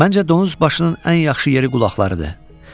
Məncə donuz başının ən yaxşı yeri qulaqlarıdır.